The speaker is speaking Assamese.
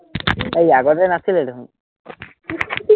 এৰ আগতে নাছিলে দেখোন